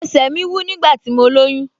Ẹsẹ̀ mi wú nígbà tí mo lóyún